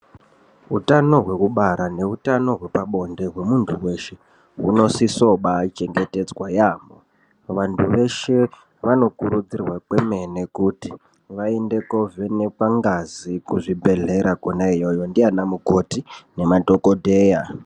Utano hwekubara nehutano hwepabonde hwemuntu hweshe hunosiso baa chengetedzwa yambo vantu veshe vanokurudzirwa kwemene kuti vaende kovhenekwa ngazi kuzvibhedhlera kona iyoyo ndivana mukoti nemadhogodheya.